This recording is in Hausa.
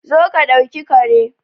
Zo ka dauki Kare